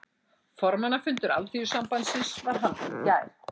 Formannafundur Alþýðusambandsins var haldinn í gær